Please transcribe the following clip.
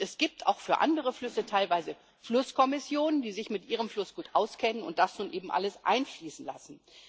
Es gibt auch für andere Flüsse teilweise Flusskommissionen, die sich mit ihrem Fluss gut auskennen und das nun eben alles einfließen lassen.